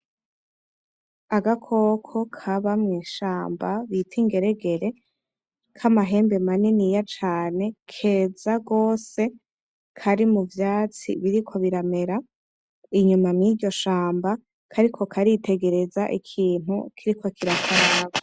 Agakoko kaba mwishamba bita ingeregere, kamahembe maniniya cane, keza rwose kari mu vyatsi biriko biramera. Irima muriryo shamba kariko karitegeraza ikintu kiriko kirakaraba.